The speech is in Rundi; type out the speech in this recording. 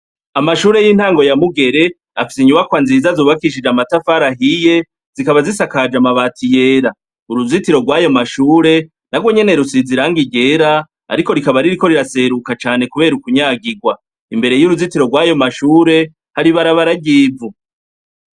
Amashure y'intango ya Mugere, afise inyubakwa nziza zubakishije amatafari ahiye, zikaba zasakaje amabati yera. Uruzitiro rw'ayo mashure, narwo nyene rusize irangi ryera, ariko rikaba ririko riraseruka cane kubera ukunyagirwa. Imbere y'uruzitiro rw'ayo mashure hari ibarabara ry'ivu.